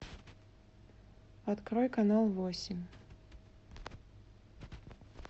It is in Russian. открой канал восемь